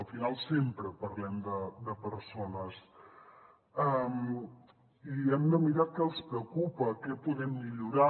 al final sempre parlem de persones i hem de mirar què els preocupa què podem millorar